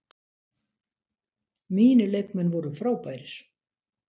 Mínir leikmenn voru frábærir.